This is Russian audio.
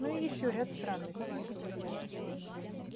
ну и ещё ряд странностей